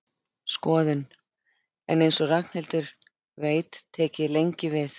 Skoðun, en eins og Ragnhildur veit tek ég lengi við.